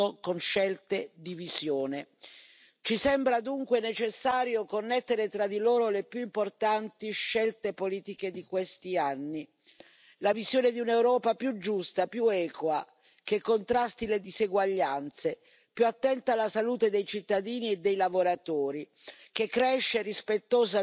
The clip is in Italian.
Ci sembra dunque necessario connettere tra di loro le più importanti scelte politiche di questi anni la visione di un'Europa più giusta, più equa, che contrasti le diseguaglianze, più attenta alla salute dei cittadini e dei lavoratori, che cresce rispettosa dell'ambiente e dei diritti sociali.